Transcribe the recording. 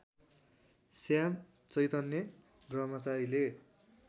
Shyam Chaitanya ब्रह्मचारीले